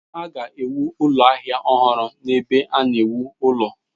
Ha ga-ewu ụlọ ahịa ọhụrụ n’ebe a na-ewu ụlọ